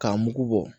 K'a mugu bɔ